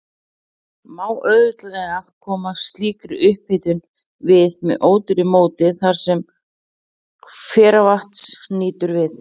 Má auðveldlega koma slíkri upphitun við með ódýru móti þar, sem hveravatns nýtur við.